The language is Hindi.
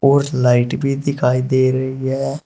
कुछ लाइट भी दिखाई दे रही है।